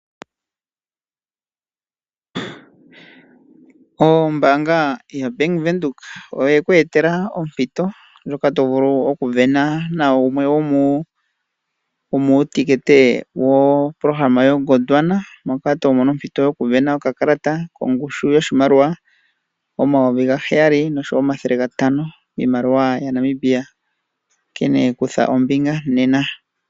Ombaanga yaBank Windhoek oye ku etela ompito ndjoka to vulu okusindana nawumwe womuutekete wopolohalama yoGondwana, moka to mono ompito yokusindana okakalata kongushu yoshimaliwa omayovi gaheyali nosho wo omathele gatano miimaliwa yaNamibia. Onkene kutha ombinga nena.